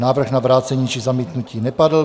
Návrh na vrácení či zamítnutí nepadl.